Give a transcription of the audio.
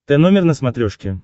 тномер на смотрешке